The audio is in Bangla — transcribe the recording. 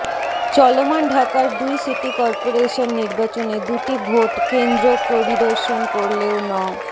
চলমান ঢাকার দুই সিটি করপোরেশন নির্বাচনে দুটি ভোট কেন্দ্র পরিদর্শন করলেও ন